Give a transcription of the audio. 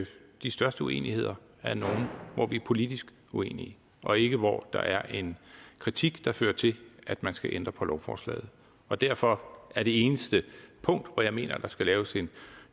de største uenigheder er nogle hvor vi er politisk uenige og ikke hvor der er en kritik der fører til at man skal ændre på lovforslaget og derfor er det eneste punkt hvor jeg mener der skal laves en